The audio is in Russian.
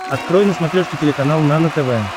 открой на смотрешке телеканал нано тв